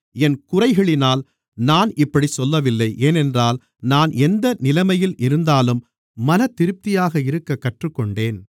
என் குறைகளினால் நான் இப்படிச் சொல்லவில்லை ஏனென்றால் நான் எந்த நிலைமையில் இருந்தாலும் மனதிருப்தியாக இருக்கக் கற்றுக்கொண்டேன்